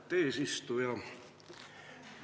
Austet eesistuja!